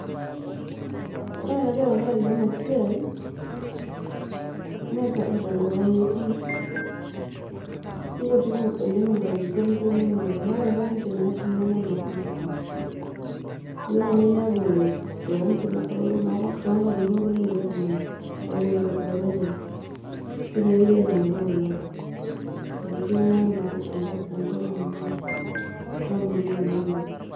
ore enajo tenkaraki ena siai mme sapuk tenkop ang metii ,ikutik inkatie oleng nilo ninepu na ore nkangitie naatii neme inormaasae ilo nai ninepu too tonkankitie enkulie tunganak ookulo loreren tine wuei ilo ainepu kulo metii ena enkop ang oormaasae enkop nikimanya yiook.